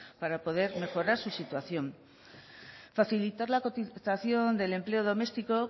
para poder mejorar su situación facilitar la cotización del empleo doméstico